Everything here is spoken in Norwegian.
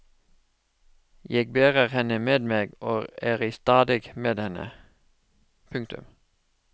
Jeg bærer henne med meg og er i stadig med henne. punktum